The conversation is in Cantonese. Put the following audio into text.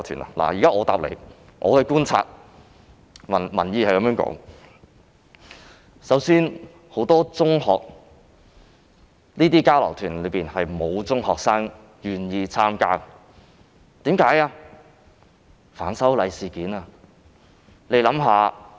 我想告訴他，從觀察民意所得，首先是沒有中學生願意參加這類交流團，原因正是反修例事件。